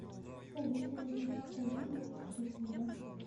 салют восемьдесят один минус тридцать два